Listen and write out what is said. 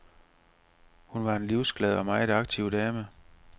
Hun var en livsglad og meget aktiv dame.